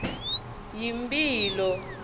yimphilo